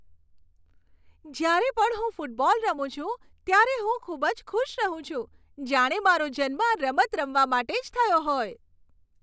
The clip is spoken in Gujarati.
જ્યારે પણ હું ફૂટબોલ રમું છું, ત્યારે હું ખૂબ જ ખુશ રહું છું. જાણે મારો જન્મ આ રમત રમવા માટે જ થયો હોય.